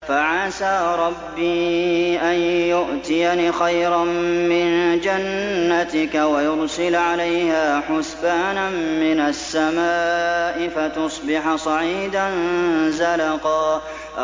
فَعَسَىٰ رَبِّي أَن يُؤْتِيَنِ خَيْرًا مِّن جَنَّتِكَ وَيُرْسِلَ عَلَيْهَا حُسْبَانًا مِّنَ السَّمَاءِ فَتُصْبِحَ صَعِيدًا زَلَقًا